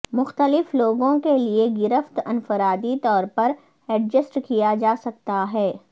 مختلف لوگوں کے لئے گرفت انفرادی طور پر ایڈجسٹ کیا جا سکتا ہے